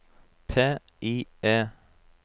PIE